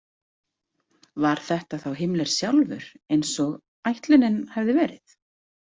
Var þetta þá Himmler sjálfur, eins og ætlunin hafði verið?